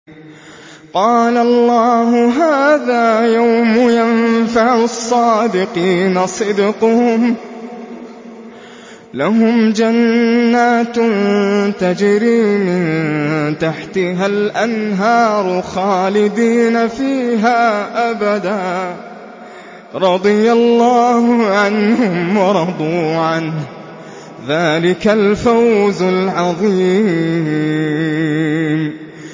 قَالَ اللَّهُ هَٰذَا يَوْمُ يَنفَعُ الصَّادِقِينَ صِدْقُهُمْ ۚ لَهُمْ جَنَّاتٌ تَجْرِي مِن تَحْتِهَا الْأَنْهَارُ خَالِدِينَ فِيهَا أَبَدًا ۚ رَّضِيَ اللَّهُ عَنْهُمْ وَرَضُوا عَنْهُ ۚ ذَٰلِكَ الْفَوْزُ الْعَظِيمُ